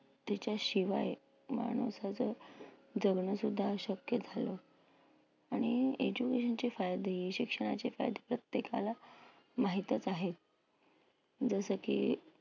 त्याच्याशिवाय माणसाचं जगणंसुद्धा अशक्य झालं. आणि education चे फायदे, शिक्षणाचे फायदे प्रत्येकाला माहीतच आहेत. जसं की